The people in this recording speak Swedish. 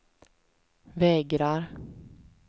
vägrar